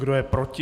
Kdo je proti?